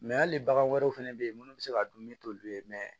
Mɛ hali bagan wɛrɛw fana bɛ yen minnu bɛ se k'a dun ne t'olu ye